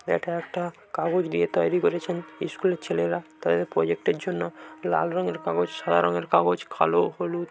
এটা একটা কাগজ দিয়ে তৈরী করেছেন স্কুলের ছেলেরা তাদের প্রজেক্টের জন্য লাল রঙের কাগজ সাদা রঙের কাগজ কালো হলুদ--